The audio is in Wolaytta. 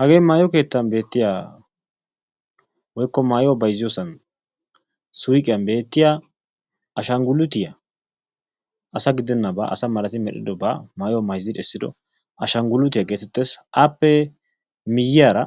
Hagee maayo keettan beettiya woykko maayuwaa bayzziyosan suuqiyan beettiya ashanguluutiyaa, asaa gidennaba asaa malati medhdhidoba maayuwa mayzzidi essido ashanguluuttiya geettees. Appe miyiyara